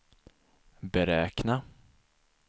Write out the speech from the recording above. beräkna